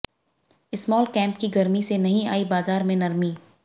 small cap की गर्मी से नहीं आई बाजार में नरमी